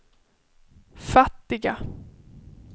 fattiga